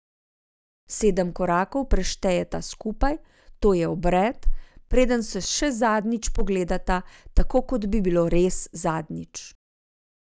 Sedem korakov preštejeta skupaj, to je obred, preden se še zadnjič pogledata, tako kot bi bilo res zadnjič.